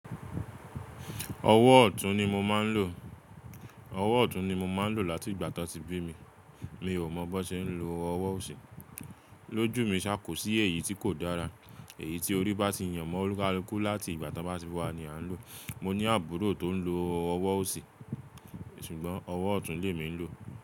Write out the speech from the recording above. Ọwọ́ ọ̀tún ni mo máa ń lò láti ìgbà tí wọ́n ti bí mi. Mi ò mọ̀ bó ṣe ń lo ọwọ́ òsì. Lójú mi ṣá kò sí èyí tí kò dára. Èyí tí orí bá ti yàn mọ́ ọlukalukú láti ìgbà ti won bá ti wà ní à ń lò. Mo ní àbúrò tó ń lo ọwọ́ òsì, ṣùgbọ́n ọwọ́ ọ̀tún ni èmi ń lò.